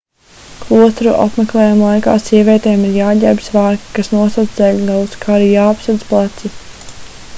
klosteru apmeklējumu laikā sievietēm ir jāģērbj svārki kas nosedz ceļgalus kā arī jāapsedz pleci